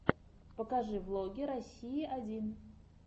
покажи влоги россии один